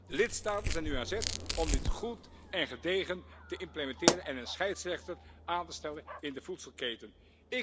De lidstaten zijn nu aan zet om dit goed en gedegen te implementeren en een scheidsrechter aan te stellen in de voedselvoorzieningsketen.